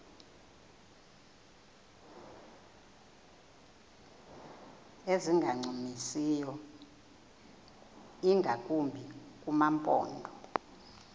ezingancumisiyo ingakumbi kumaphondo